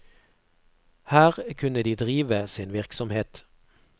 Her kunne de drive sin virksomhet.